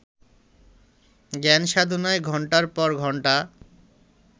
জ্ঞানসাধনায় ঘণ্টার পর ঘণ্টা